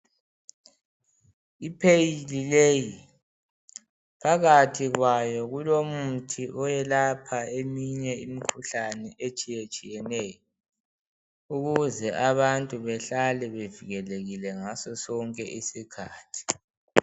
i pheyili leyi phakathi kwayo kulomuthi oyelapha eminye imikhuhlane etshiyetshiyeneyo ukuze abantu behlale bevikelekile ngaso sonke isikhathi